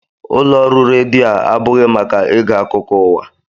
Ụlọ ọrụ redio a abụghị maka ige akụkọ ụwa